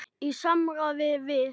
Í samráði við